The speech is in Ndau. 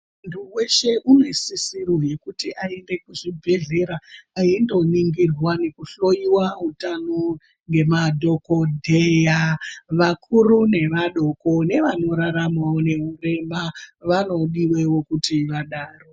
Muntu weshe unosisirwa kuti aende kuchibhedhlera eindoningirwa eihloiwa utano nemadhokodheya vakuru nevadoko nevanoraramawo neurema vanodiwewo kuti vadaro.